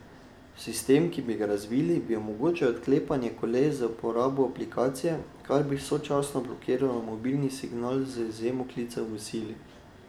Sistem, ki bi ga razvili, bi omogočal odklepanje koles z uporabo aplikacije, kar pa bi sočasno blokiralo mobilni signal, z izjemo klicev v sili.